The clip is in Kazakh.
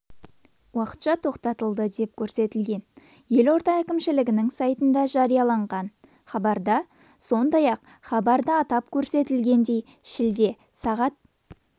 уақытша тоқтатылады деп көрсетілген елорда әкімшілігінің сайтында жарияланған хабарда сондай-ақ хабарда атап көрсетілгендей шілде сағат